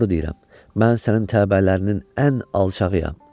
Doğru deyirəm, mən sənin təbələrinin ən alçağıyam.